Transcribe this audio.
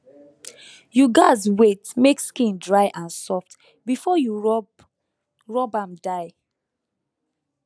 you gatz wait make skin dry and soft before you rub rub am dye